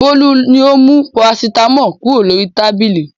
Bólú ni ó mú parasítámọ̀ kúrò lórí tábìlì.